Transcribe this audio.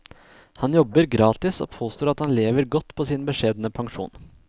Han jobber gratis og påstår at han lever godt på sin beskjedne pensjon.